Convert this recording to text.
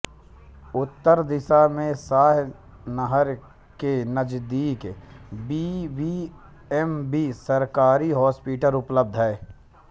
उत्तर दिशा में शाह नहर के नजदीक बी बी एम बी सरकारी हॉस्पिटल उपलब्ध है